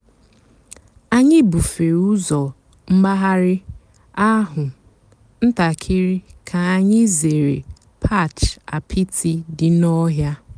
ányị́ búfèré ụ́zọ́ m̀gbàghàrị́ àhú́ ǹtàkị́rị́ kà ányị́ zèéré patch àpịtị́ dị́ n'ọ̀hị́à.